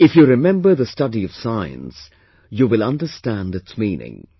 If you remember the study of science, you will understand its meaning